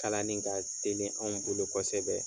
Kalani ka teli anw bolo kosɛbɛ.